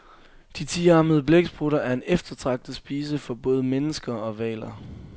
De tiarmede blæksprutter er en eftertragtet spise for både mennesker og hvaler.